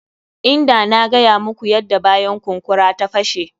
Inda na gaya muku yadda bayan kunkura ta fashe.